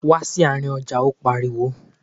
Wá sí àárín ọjà! Ó pariwo.